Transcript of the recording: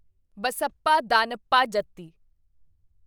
Basappa Danappa Jatti